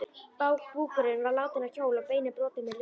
Búkurinn var látinn á hjól og beinin brotin með lurkum.